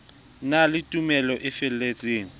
na le tumelo e feletseng